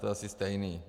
To je asi stejné.